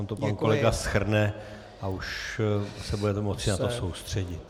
On to pan kolega shrne a už se budeme moci na to soustředit.